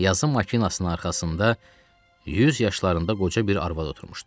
Yazı maşının arxasında 100 yaşlarında qoca bir arvad oturmuşdu.